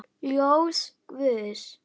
Ljós guðs.